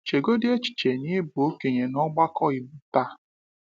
Chegodi echiche na ị bụ okenye n’ọgbakọ Igbo taa.